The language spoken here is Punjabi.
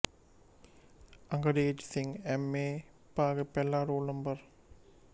ਅੰਗਰੇਜ਼ ਸਿੰਘ ਐੱਮ ਏ ਭਾਗ ਪਹਿਲਾ ਰੋਲ ਨੰ